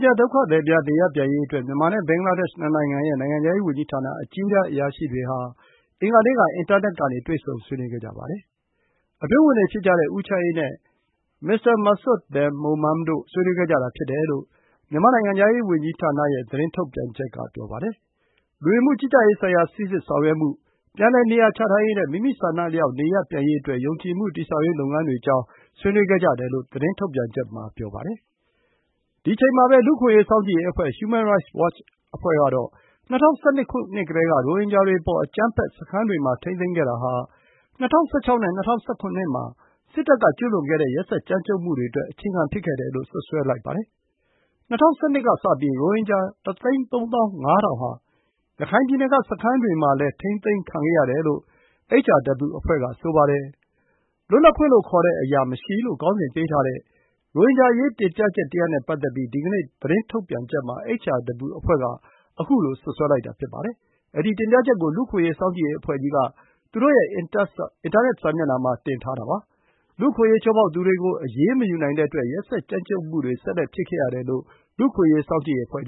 ဂျာဒုက္ခသည်များ နေရပ်ပြန်ရေးအစည်းအဝေးကို မြန်မာနဲ့ ဘင်္ဂလားဒေ့ရှ် နှစ်နိုင်ငံရဲ့ နိုင်ငံခြားရေးဝန်ကြီးဌာန အကြီးတန်းအရာရှိတွေ အင်္ဂါနေ့က အွန်လိုင်းကနေ ဆွေးနွေးခဲ့ကြပါတယ်။ အတွင်းဝန်တွေဖြစ်ကြတဲ့ ဦးချမ်းအေးနဲ့ မစ္စတာ မာစွတ် ဘင် မိုမမ် (Mr. Masud Bin Momen) တို့ ဆွေးနွေးခဲ့ကြတာ ဖြစ်တယ်လို့ မြန်မာနိုင်ငံခြားရေး ဝန်ကြီးဌာနရဲ့ သတင်းထုတ်ပြန်ချက်က ပြောပါတယ်။ လူဝင်မှုကြီးကြပ်ရေးဆိုင်ရာ စိစစ်ဆောင်ရွက်မှု၊ ပြန်လည်နေရာချထားရေးနဲ့ မိမိဆန္ဒအလျောက် နေရပ်ပြန်ရေးအတွက် ယုံကြည်မှုတည်ဆောက်ရေး လုပ်ငန်းတွေ အကြောင်း ဆွေးနွေးခဲ့ကြတယ်လို့ ထုတ်ပြန်ချက်မှာ ဆိုပါတယ်။ လူ့အခွင့်အရေး စောင့်ကြည့်ရေးအဖွဲ့ Human Rights Watch ကတော့ ၂၀၁၂ ခုနှစ်ကတည်းက ရိုဟင်ဂျာတွေအပေါ် အကြမ်းဖက်၊ စခန်းတွေမှာ ထိန်းသိမ်းထားခဲ့တာဟာ ၂၀၁၆ နဲ့ ၂၀၁၇ မှာ စစ်တပ်က ကျူးလွန်ခဲ့တဲ့ ရက်စက် ကြမ်းကြုတ်မှုတွေအတွက် အခြေခံ ဖြစ်ခဲ့တယ်လို့ စွပ်စွဲလိုက်ပါတယ်။ ၂၀၁၂ ကစပြီး ရိုဟင်ဂျာ ၁၃၅,၀၀၀ ဟာ ရခိုင်ပြည်နယ်က စခန်းတွေမှာလည်း ထိန်းသိမ်းခံခဲ့ရတယ်လို့ HRW အဖွဲ့က ဆိုပါတယ်။ “လွတ်လပ်ခွင့်လို့ ခေါ်တဲ့အရာမရှိ” လို့ ခေါင်းစဉ်ပေးထားတဲ့ ရိုဟင်ဂျာအရေး တင်ပြချက်တရပ်နဲ့ ပတ်သက်ပြီး ဒီနေ့ သတင်းထုတ်ပြန်ချက် မှာ HRW အဖွဲ့က ခုလို စွပ်စွဲလိုက်တာ ဖြစ်ပါတယ်။ အဲဒီ တင်ပြချက်ကို လူ့အခွင့်အရေး စောင့်ကြည့်ရေးအဖွဲ့ကြီးက သူတို့ရဲ့ အင်တာနက်စာမျက်နှာမှာ တင်ထားပါတယ်။ လူ့အခွင့်အရေး ချိုးဖောက်သူတွေကို အရေးမယူနိုင်တဲ့အတွက် ရက်စက် ကြမ်းကြုတ်မှုတွေ ဆက်လက် ဖြစ်ခဲ့ရတယ်လို့ လူ့အခွင့်အရေး စောင့်ကြည့်ရေးအဖွဲ့